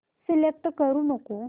select करू नको